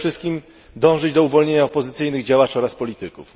Przede wszystkim dążyć do uwolnienia opozycyjnych działaczy oraz polityków.